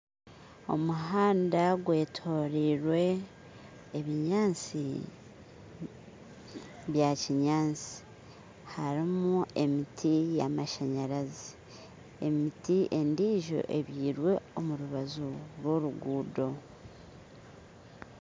Omuhanda gwetorirwe ebinyantsi byakinyantsi, harimu emiti y'amashanyarazi, emiti endiijo ebyirwe omu rubaju rw'oruguuto